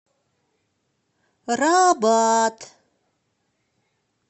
рабат